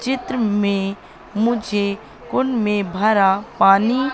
चित्र में मुझे कुंड में भरा पानी--